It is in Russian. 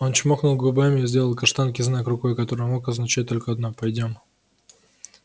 он чмокнул губами и сделал каштанке знак рукой который мог означать только одно пойдём